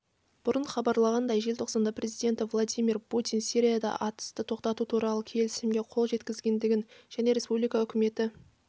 бұрын хабарланғандай желтоқсанда президенті владимир путин сирияда атысты тоқтату туралы келісімге қол жеткізілгенін және республика үкіметі